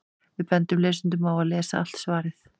Við bendum lesendum á að lesa allt svarið.